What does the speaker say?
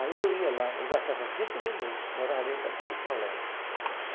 Aí eu ia lá, eu gastava cinco minuto, morava bem pertinho do colégio.